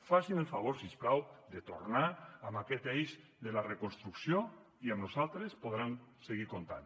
facin el favor si us plau de tornar en aquest eix de la reconstrucció i amb nosaltres hi podran seguir comptant